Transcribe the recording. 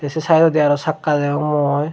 se saidodi aro sakka degong mui.